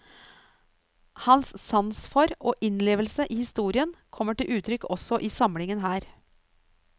Hans sans for og innlevelse i historien kommer til uttrykk også i samlingen her.